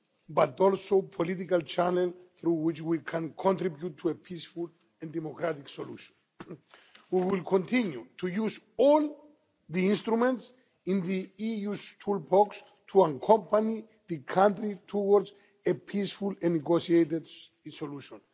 but also a political channel through which we can contribute to a peaceful and democratic solution. We will continue to use all the instruments in the EU's toolbox to accompany the country towards a peaceful and negotiated solution.